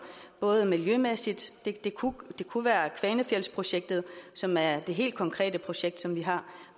miljømæssigt det kunne være kvanefjeldsprojektet som er det helt konkrete projekt som vi har